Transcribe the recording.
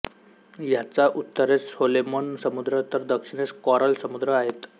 याच्या उत्तरेस सोलोमन समुद्र तर दक्षिणेस कॉरल समुद्र आहेत